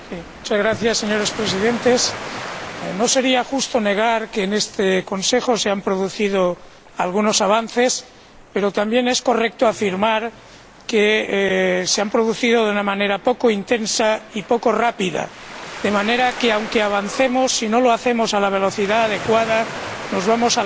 Señor Presidente, no sería justo negar que en este Consejo se han producido algunos avances, pero también es correcto afirmar que se han producido de una manera poco intensa y poco rápida, de modo que, aunque avancemos, si no lo hacemos a la velocidad adecuada, nos vamos alejando